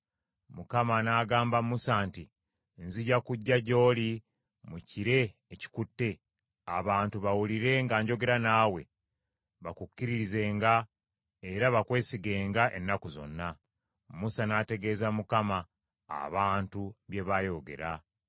Mukama n’agamba Musa nti, “Nzija kujja gy’oli mu kire ekikutte, abantu bawulire nga njogera naawe, bakukkirizenga era bakwesigenga ennaku zonna.” Musa n’ategeeza Mukama abantu bye baayogera.